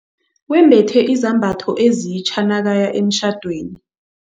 Wembethe izambatho ezitja nakaya emtjhadweni.